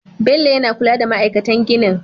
Bello yana kula da ma'aikatan ginin